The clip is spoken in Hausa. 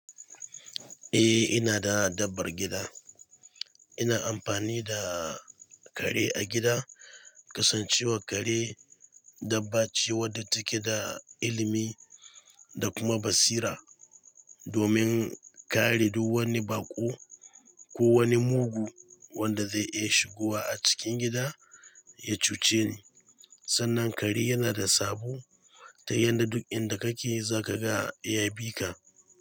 Eh ina da dabbar gida. Ina amfani da kare a gida. Kasancewar kare dabba ce wadda take da ilimi da kuma basira domin kare duk wani baƙo ko wani mugu wanda zai iya shigowa a cikin gida ya cuce ni. Sannan kare yana da sabo ta yadda duk inda kake za ka ga ya bi ka.